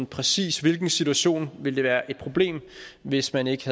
præcis hvilken situation det vil være et problem hvis man ikke